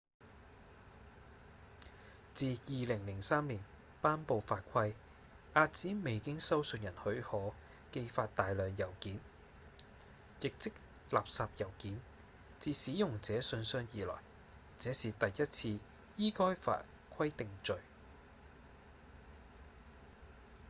自2003年頒布法規遏止未經收信人許可寄發大量郵件亦即垃圾郵件至使用者信箱以來這是第一次依該法規定罪